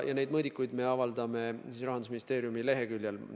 Neid mõõdikuid me avaldame Rahandusministeeriumi leheküljel.